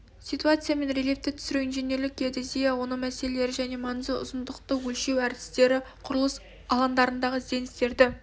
ситуация мен рельефті түсіру инженерлік геодезия оның мәселелері және маңызы ұзындықты өлшеу әдістері құрылыс алаңдарындағы ізденістерді